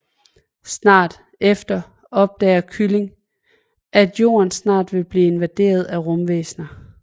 Snart efter opdager kylling at jorden snart vil blive invaderet af rumvæsner